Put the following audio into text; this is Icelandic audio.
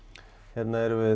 hérna erum við